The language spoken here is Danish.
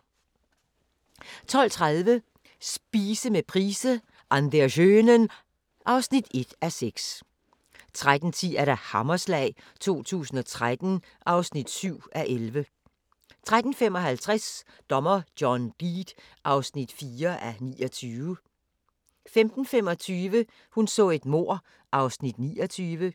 12:30: Spise med price - An der schönen ... (1:6) 13:10: Hammerslag 2013 (7:11) 13:55: Dommer John Deed (4:29) 15:25: Hun så et mord (29:268)